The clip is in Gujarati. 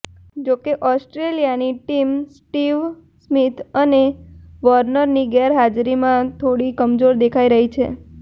જોકે ઓસ્ટ્રેલિયાની ટીમ સ્ટીવ સ્મીથ અને વોર્નરની ગેરહાજરીમાં થોડી કમજોર દેખાઇ રહી છે